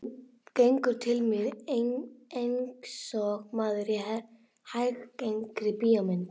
Gengur til mín einsog maður í hæggengri bíómynd.